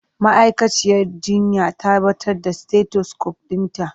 Ma'aikaciyar jinya ta batar da stetosukop ɗinta.